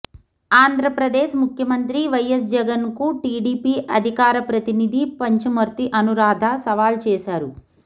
ఆంధ్రప్రదేశ్ ముఖ్యమంత్రి వైఎస్ జగన్ కు టీడీపీ అధికార ప్రతినిధి పంచుమర్తి అనురాధ సవాల్ చేసారు